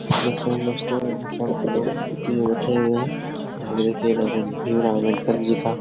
दोस्तो हम सब लोग बैठे हुए है भीम राव अम्बेडकर जी का।